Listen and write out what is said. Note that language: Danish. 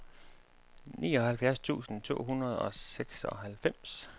nioghalvfjerds tusind to hundrede og seksoghalvfems